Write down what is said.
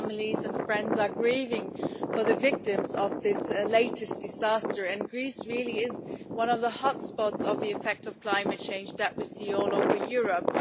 Families and friends are grieving for the victims of this latest disaster, and Greece really is one of the hotspots of the effect of climate change that we see all over Europe.